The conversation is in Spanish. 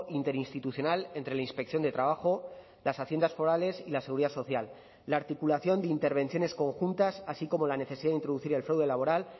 interinstitucional entre la inspección de trabajo las haciendas forales y la seguridad social la articulación de intervenciones conjuntas así como la necesidad de introducir el fraude laboral